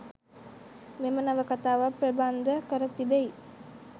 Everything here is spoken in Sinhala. මෙම නවකතාව ප්‍රබන්ධ කර තිබෙයි.